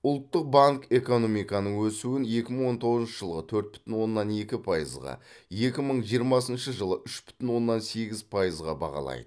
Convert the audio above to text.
ұлттық банк экономиканың өсуін екі мың он тоғызыншы жылы төрт бүтін оннан екі пайызға екі мың жиырмасыншы жылы үш бүтін оннан сегіз пайызға бағалайды